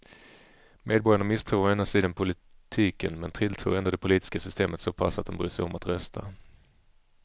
Medborgarna misstror å ena sidan politiken men tilltror ändå det politiska systemet så pass att de bryr sig om att rösta.